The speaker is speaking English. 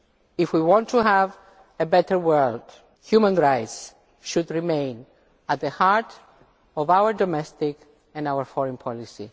If we want to have a better world, human rights should remain at the heart of our domestic and our foreign policy.